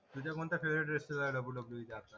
WWE चार